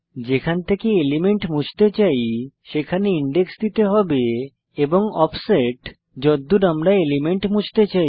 যেখান থেকে এলিমেন্ট মুছতে চাই সেখানে ইনডেক্স দিতে হবে এবং অফসেট যদ্দুর আমরা এলিমেন্ট মুছতে চাই